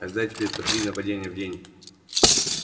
ожидай теперь по три нападения в день